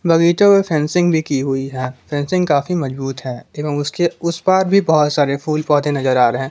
बगीचों मे फेंसिंग भी की हुई है फेंसिंग काफी मजबूत है एवं उसके उस पार भी बहुत सारे फूल पौधे नजर आ रहे--